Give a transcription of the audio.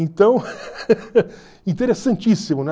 Então, interessantíssimo, né?